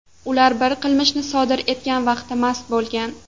Ular bu qilmishni sodir etgan vaqtda mast bo‘lgan.